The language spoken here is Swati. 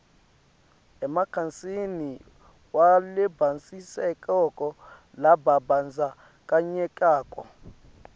emkhatsini walabatsintsekako lababandzakanyekako